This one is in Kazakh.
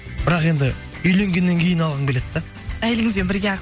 бірақ енді үйленгеннен кейін алғым келеді да әйеліңізбен бірге